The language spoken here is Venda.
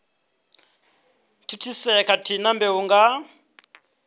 thithisea khathihi na mbeu nga